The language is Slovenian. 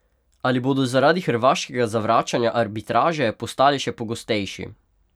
Ali bodo zaradi hrvaškega zavračanja arbitraže postali še pogostejši?